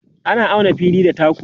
ana auna na fili da taku